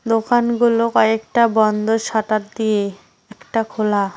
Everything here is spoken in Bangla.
দোকানগুলো কয়েকটা বন্ধ শাটার দিয়ে একটা খোলা।